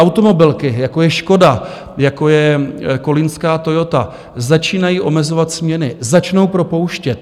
Automobilky, jako je Škoda, jako je kolínská Toyota, začínají omezovat směny, začnou propouštět.